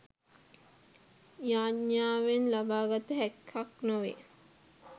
යාඥාවෙන් ලබා ගත හැක්කක් නොවේ.